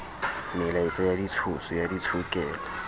melaetsa ya ditshoso ya ditshokelo